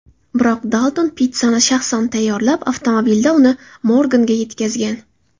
Biroq Dalton pitssani shaxsan tayyorlab, avtomobilida uni Morganga yetkazgan.